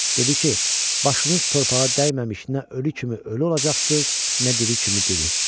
Dedi ki, başınız torpağa dəyməmiş nə ölü kimi ölü olacaqsınız, nə diri kimi diri.